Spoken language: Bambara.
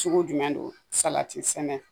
Sugu jumɛn don sɛnɛ.